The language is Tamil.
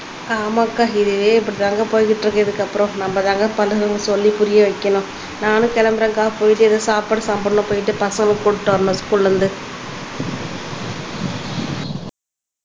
ஆமாக்கா இதே போட்டிருக்கு இதுக்கு அப்புறம் நம்பதாங்க பசங்களுக்கு சொல்லி புரிய வைக்கணும் நானும் கிளம்புறேன்க்கா போயிட்டு எதுவும் சாப்பாடு சாப்பிடணும்ன்னு போயிட்டு பசங்களுக்கு கூட்டிட்டு வரணும் ஸ்கூல்ல இருந்து